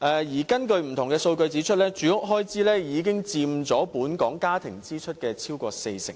而根據不同數據指出，住屋開支已佔本港家庭支出超過四成了。